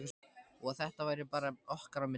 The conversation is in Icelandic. Og að þetta væri bara okkar á milli.